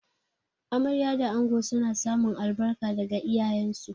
Amarya da ango suna samun albarka daga iyayensu.